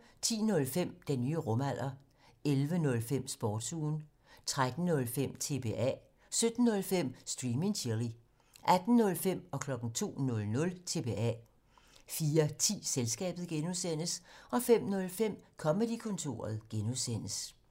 10:05: Den nye rumalder 11:05: Sportsugen 13:05: TBA 17:05: Stream and Chill 18:05: TBA 02:00: TBA 04:10: Selskabet (G) 05:05: Comedy-kontoret (G)